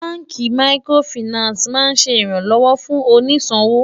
bánkì màkìrófinààsí má n ṣé ìran lówó fún òní ṣòwò